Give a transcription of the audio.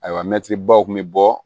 Ayiwa mɛtiribaw kun bɛ bɔ